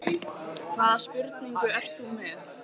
Hvaða spurningu ert þú með?